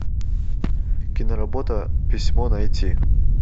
киноработа письмо найти